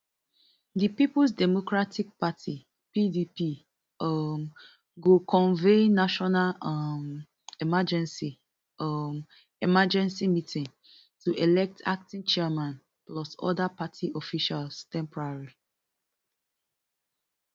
di peoples democratic party pdp um go convene national um emergency um emergency meeting to elect acting national chairman plus oda party officials temporarily